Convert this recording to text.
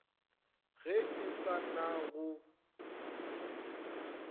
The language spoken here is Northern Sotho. ge e se na go